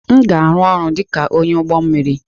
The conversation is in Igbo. M ga-arụ ọrụ dịka onye ọrụ ụgbọ mmiri.